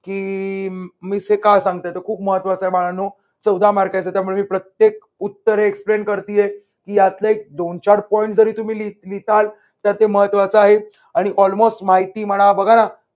की miss हे का सांगतात तर खूप महत्त्वाचा आहे बाळांनो चौदा mark च त्यामुळे मी प्रत्येक उत्तर हे explain करतीये की यातले एक दोन चार point तुम्ही लिहिता तर ते महत्त्वाचा आहे आणि almost माहिती म्हणा बघा ना